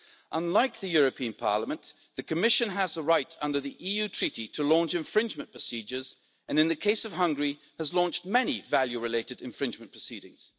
Unlike the European Parliament, the Commission has a right under the Treaty on European Union to launch infringement procedures and, in the case of Hungary, has launched many value related infringement proceedings.